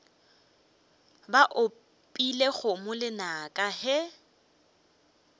ba opile kgomo lenaka ge